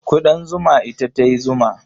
Ƙudan zuma ita ta yi zuma.